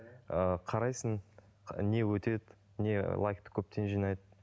ыыы қарайсың не өтеді не лайкті көптен жинайды